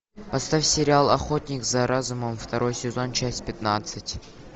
поставь сериал охотник за разумом второй сезон часть пятнадцать